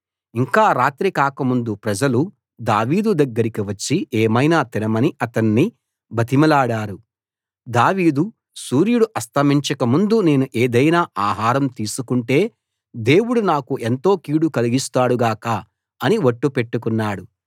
ఇంకా రాత్రి కాకముందు ప్రజలు దావీదు దగ్గరికి వచ్చి ఏమైనా తినమని అతణ్ణి బతిమిలాడారు దావీదు సూర్యుడు అస్తమించక ముందు నేను ఏదైనా ఆహారం తీసుకొంటే దేవుడు నాకు ఎంతో కీడు కలిగిస్తాడుగాక అని ఒట్టు పెట్టుకున్నాడు